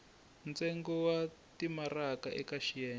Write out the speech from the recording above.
ntsengo wa timaraka eka xiyenge